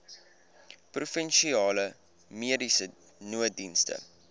provinsiale mediese nooddienste